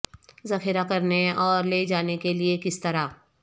ذخیرہ کرنے اور لے جانے کے لئے کس طرح